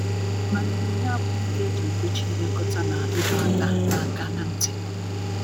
mana onyinye abụghi ihe eji edochi ilekota na idọ aka na aka na nti